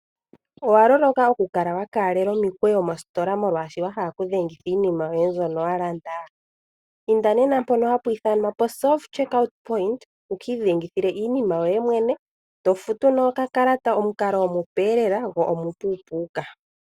Owa loloka oku kala wa ka lela omikwewo moostola molwashoka wa hala oku dhengitha iinima yoye mbyono wa landa? inda nena mpono hapu ithanwa self check out point wuki idhengi thile iinima yoye mwene eto futu noka kalata nguka ogo omukalo omupe go omupu puka.